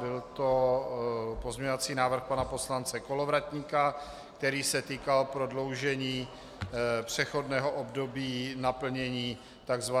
Byl to pozměňovací návrh pana poslance Kolovratníka, který se týkal prodloužení přechodného období naplnění tzv.